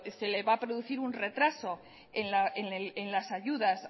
se le van a producir un retraso en las ayudas